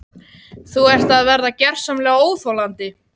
Þú ert að verða gersamlega óþolandi!